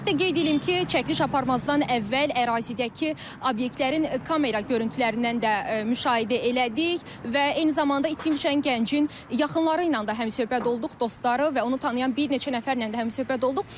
Ümumiyyətlə qeyd eləyim ki, çəkiliş aparmazdan əvvəl ərazidəki obyektlərin kamera görüntülərindən də müşahidə elədik və eyni zamanda itkin düşən gəncin yaxınları ilə də həmsöhbət olduq, dostları və onu tanıyan bir neçə nəfərlə də həmsöhbət olduq.